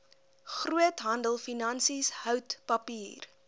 groothandelfinansies hout papier